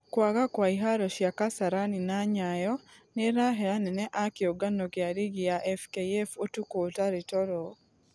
Kũagakwaiharo cia kasarani na nyayo nĩrahe anene a kĩũngano gĩa rigi ya fkf ũtukũ ũtarĩ toro.